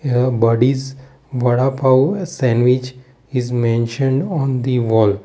here buddy's vadapav sandwich is mentioned on the wall.